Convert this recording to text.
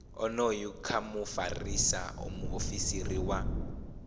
onoyu kha mufarisa muofisiri wa